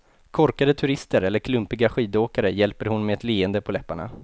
Korkade turister eller klumpiga skidåkare hjälper hon med ett leende på läpparna.